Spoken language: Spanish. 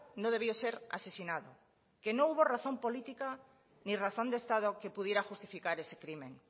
no debió ser asesinado que no hubo razón política ni razón de estado que pudiera justificar ese crimen